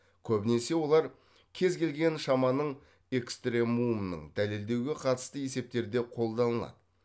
көбінесе олар кез келген шаманың экстремумын дәлелдеуге қатысты есептерде қолданылады